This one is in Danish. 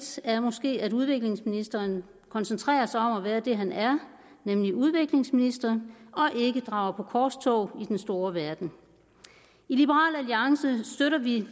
er måske at udviklingsministeren koncentrerer sig om at være det han er nemlig udviklingsminister og ikke drager på korstog i den store verden i liberal alliance støtter vi